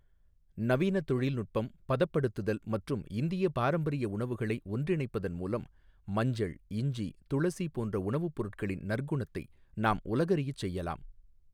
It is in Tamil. நவீன தொழில்நுட்பம், பதப்படுத்துதல் மற்றும் இந்திய பாரம்பரிய உணவுகளை ஒன்றிணைப்பதன் மூலம், மஞ்சள், இஞ்சி, துளசி போன்ற உணவுப்பொருட்களின் நற்குணத்தை நாம் உலகறியச் செய்யலாம்.